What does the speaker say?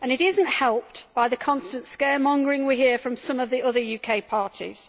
It is not helped by the constant scaremongering we hear from some of the other UK parties.